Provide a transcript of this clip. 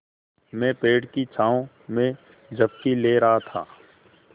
मैं पेड़ की छाँव में झपकी ले रहा था